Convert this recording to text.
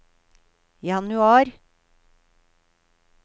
januar